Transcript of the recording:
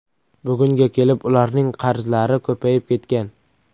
Bugunga kelib ularning qarzlari ko‘payib ketgan.